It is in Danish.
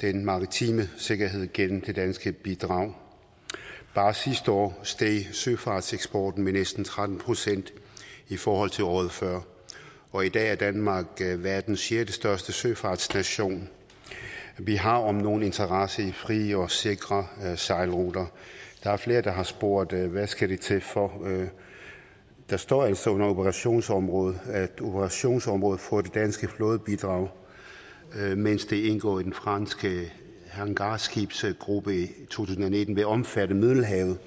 den maritime sikkerhed gennem det danske bidrag bare sidste år steg søfartseksporten med næsten tretten procent i forhold til året før og i dag er danmark verdens sjettestørste søfartsnation vi har om nogen interesse i frie og sikre sejlruter der er flere der har spurgt hvad skal det til for der står altså under operationsområde at operationsområdet for det danske flådebidrag mens det indgår i den franske hangarskibsgruppe i tusind og nitten vil omfatte middelhavet